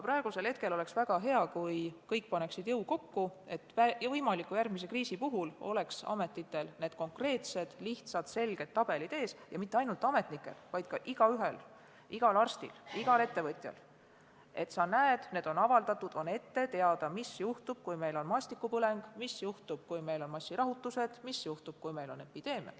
Praegu oleks väga hea, kui kõik paneksid jõud kokku, et järgmise võimaliku kriisi puhul oleks ametnikel ees konkreetsed, lihtsad ja selged tabelid – ja mitte ainult ametnikel, vaid igal ühel, igal arstil, igal ettevõtjal –, et oleks näha ja ette teada, mis juhtub siis, kui meil on maastikupõleng, massirahutused või epideemiad.